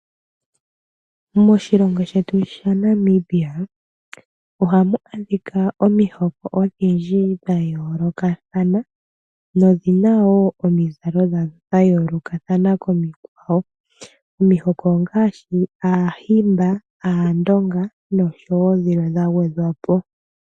Moshilongo shetu sha Namibia ohamu adhika omihoko odhindji dha yoolokathana . Nodhina woo omizalo dhadho dha yoolokathana komikwawo. Omihoko ongaashi aahimba, aandonga nosho woo dhilwe dha gwedhwa po.